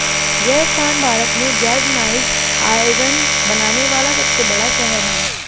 यह स्थान भारत में गैल्वनाइज्ड आयरन बनाने वाला सबसे बड़ा शहर है